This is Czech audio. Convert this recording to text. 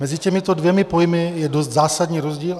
Mezi těmito dvěma pojmy je dost zásadní rozdíl.